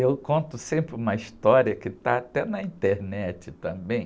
Eu conto sempre uma história que está até na internet também.